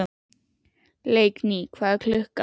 Leikný, hvað er klukkan?